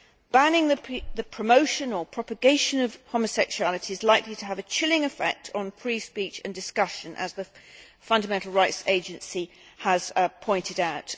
Banning the promotion or propagation of homosexuality is likely to have a chilling effect on free speech and discussions, as the Fundamental Rights Agency has pointed out.